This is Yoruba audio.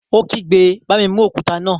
Ó kígbe, "Bá mi mú òkúta náà!"